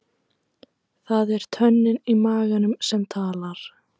Það er tönnin í maganum sem talar.